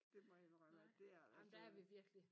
Det må jeg indrømme det er da altså ikke